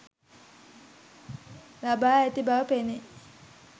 ලබා ඇති බව පෙනේ.